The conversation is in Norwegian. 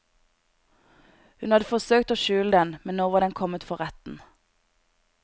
Ho hadde forsøkt å skjule den, men nå var den kommet for retten.